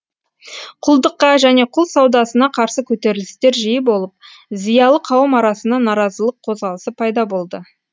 құлдыққа және құл саудасына қарсы көтерілістер жиі болып зиялы қауым арасында наразылық қозғалысы пайда болды